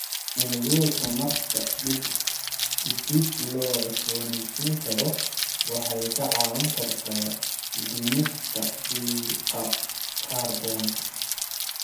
Tiknoolajiyadda tamarta dib loo cusbooneysiin karo waxay ka caawin kartaa dhimista qiiqa kaarboon-da.